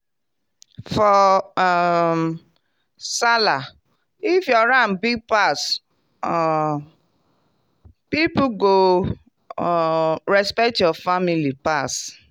for um sallah if your ram big pass um people go um respect your family pass.